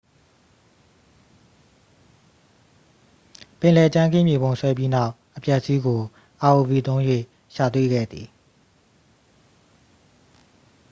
ပင်လယ်ကြမ်းခင်း မြေပုံဆွဲပြီးနောက် အပျက်အစီးကို rov သုံး၍ ရှာတွေ့ခဲ့သည်